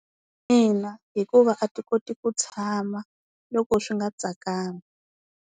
Ina hikuva a ti koti ku tshama loko swi nga tsakangi.